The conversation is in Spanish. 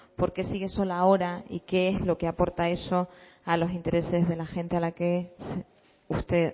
por qué sigue sola ahora y qué es lo que aporta eso a los intereses de la gente a la que usted